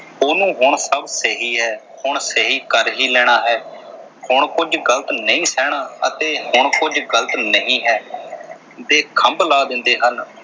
ਉਹਨੂੰ ਹੁਣ ਸਭ ਸਹੀ ਹੈ। ਹੁਣ ਸਹੀ ਕਰ ਹੀ ਲੈਣਾ ਹੈ, ਹੁਣ ਕੁਝ ਗ਼ਲਤ ਨਹੀਂ ਸਹਿਣਾ ਅਤੇ ਹੁਣ ਕੁਝ ਗਲ਼ਤ ਨਹੀਂ ਹੈ, ਦੇ ਖ਼ੰਭ ਲੈ ਦਿੰਦੇ ਹਨ।